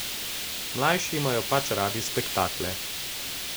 Mlajši imajo pač radi spektakle.